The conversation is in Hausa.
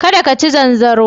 Ka da ka ci zanzaro.